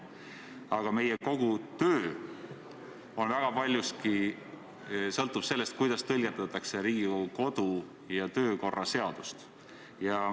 Aga kogu meie töö sõltub väga paljuski sellest, kuidas tõlgendatakse Riigikogu kodu- ja töökorra seadust.